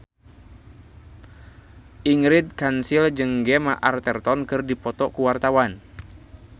Ingrid Kansil jeung Gemma Arterton keur dipoto ku wartawan